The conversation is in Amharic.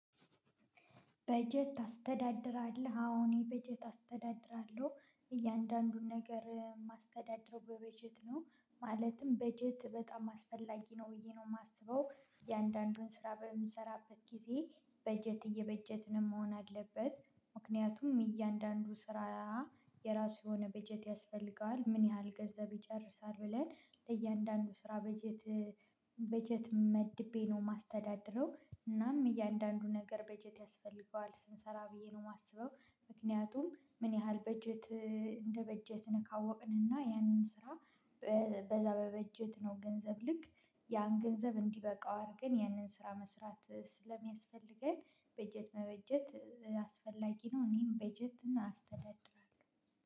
በጀት ታስተዳድራለሁ አዎ እኔ በጀት አስተዳድራለሁ እያንዳንዱን ነገር ማስተዳደረው በበጀት ነው። ማለትም በጀት በጣም አስፈላጊ ነው ብዬ ነው የማስበው እየአንዳንዱን ስራ በምንሰራበት ጊዜ በጀት እየበጀትንም መሆን አለበት ምክንያቱም እያንዳንዱ ስራ። የራሱ የሆነ በጀት ያስፈልገዋል ምን ያህል ገንዘብ ይጨርሳል ብለን ለእያንዳንዱ ስራ በጀት። በጀት መድቤ ነው የማስተዳድረው እናም እያንዳንዱ ነገር በጀት ያስፈልገዋል ስንሰራ ብዬ ነው የማስበው። ምክንያቱም ምን ያህል በጀት እንደ በጀትን ካወቅንና ያንን ስራ። በዛ በበጀት ነው ገንዘብ ልክ ያን ገንዘብ እንዲበቃው አድርገን ያንን ስራ መስራት ስለሚያስፈልገን በጀት መበጀት አስፈላጊ ነው። እኔም በጀት አስተዳድራለሁ።